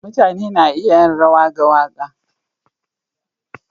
Mutane na iya yin rawa ga waka.